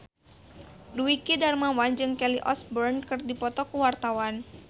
Dwiki Darmawan jeung Kelly Osbourne keur dipoto ku wartawan